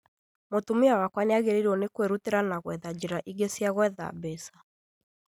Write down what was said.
Mũtumia wakwa nĩagĩrĩirwo nĩ kwĩrutanĩria na gwetha njira ingĩ cia gwetha mbeca